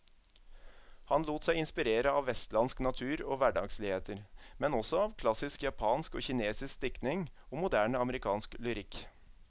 Han lot seg inspirere av vestlandsk natur og hverdagsligheter, men også av klassisk japansk og kinesisk diktning og moderne amerikansk lyrikk.